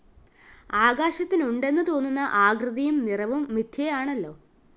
ആകാശത്തിനുണ്ടെന്നു തോന്നുന്ന ആകൃതിയും നിറവും മിഥ്യയാണല്ലോ